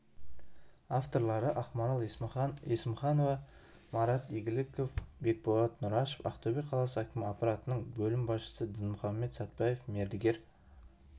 авторлары ақмарал есімханова марат игіліков бекболат нұрашев ақтөбе қаласы әкімі аппаратының бөлім басшысы дінмұхаммед сәтбаев мердігер